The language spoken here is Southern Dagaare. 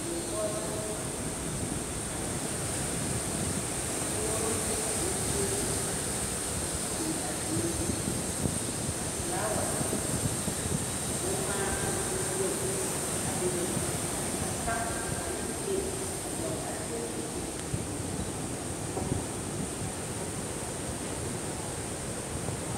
Die poɔ la ka dakogiro ane teebol a biŋ a dieŋ ka felaawa, boŋ ŋmaa ane boŋ wogi a bebe ka kapu ane pileti a dɔgele a teebol zu.